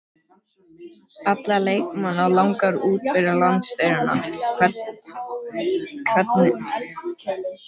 Alla leikmenn langar út fyrir landsteinana, hvernig er með þjálfarann?